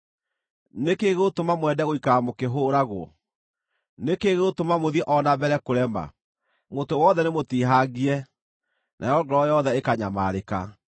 Nĩ kĩĩ gĩgũtũma mwende gũikara mũkĩhũũragwo? Nĩ kĩĩ gĩgũtũma mũthiĩ o na mbere kũrema? Mũtwe wothe nĩmũtihangie, nayo ngoro yothe ĩkanyamarĩka.